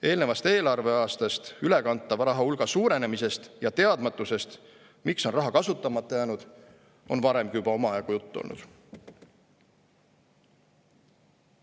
Eelnevast eelarveaastast üle kantava raha hulga suurenemisest ja teadmatusest, miks on raha kasutamata jäänud, on varemgi juba omajagu juttu olnud.